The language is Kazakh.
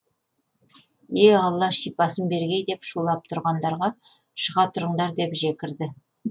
е алла шипасын бергей деп шулап тұрғандарға шыға тұрыңдар деп жекірді